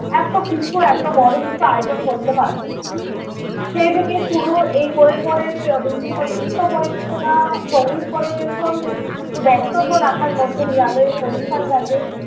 এত কিছু এত বড় কিছু আয়োজন করতে পারবো। সেই থেকে শুরু এই করে করে বিভিন্ন নৃত্য পরিবেশনা, সঙ্গীত পরিবেশন বক্তব্য রাখার মধ্য দিয়ে আমরা এই অনুষ্ঠান টাকে